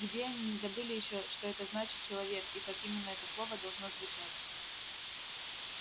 где они не забыли ещё что это значит человек и как именно это слово должно звучать